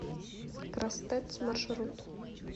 крастэц маршрут